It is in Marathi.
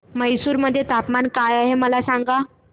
म्हैसूर मध्ये तापमान काय आहे मला सांगा